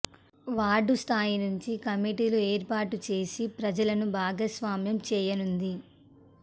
ward స్థాయి నుంచి కమిటీలు ఏర్పాటు చేసి ప్రజలను భాగస్వామ్యం చేయనుంది